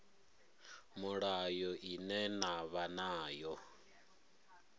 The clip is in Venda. mulayo ine na vha nayo